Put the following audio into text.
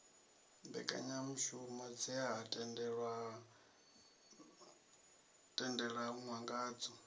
mbekanyamushumo dze ha tendelanwa ngadzo